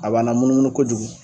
A b'an namunumunu kojugu